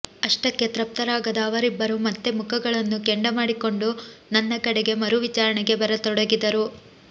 ಅಷ್ಟಕ್ಕೆ ತೃಪ್ತರಾಗದ ಅವರಿಬ್ಬರು ಮತ್ತೆ ಮುಖಗಳನ್ನು ಕೆಂಡ ಮಾಡಿಕೊಂಡು ನನ್ನ ಕಡೆಗೆ ಮರು ವಿಚಾರಣೆಗೆ ಬರತೊಡಗಿದರು